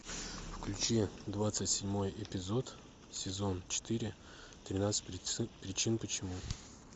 включи двадцать седьмой эпизод сезон четыре тринадцать причин почему